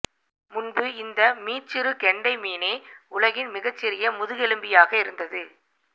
முன்பு இந்த மீச்சிறு கெண்டை மீனே உலகின் மிகச்சிறிய முதுகெலும்பியாக இருந்தது